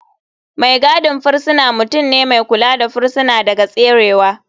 Mai gadin firisina mutum ne mai kula da firisina daga tserewa.